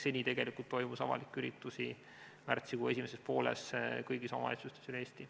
Seni, märtsikuu esimeses pooles, toimus avalikke üritusi kõigis omavalitsustes üle Eesti.